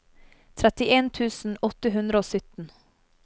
trettien tusen åtte hundre og sytten